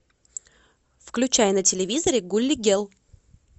включай на телевизоре гули гел